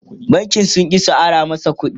bankin sun ƙi su Ara masa ƙuɗi